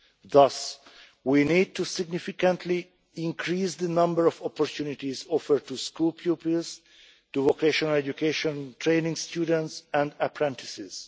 Thus we need to significantly increase the number of opportunities offered to school pupils, vocational education and training students and apprentices.